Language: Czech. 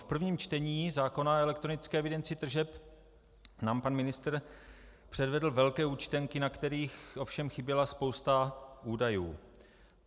V prvním čtení zákona o elektronické evidenci tržeb nám pan ministr předvedl velké účtenky, na kterých ovšem chyběla spousta údajů.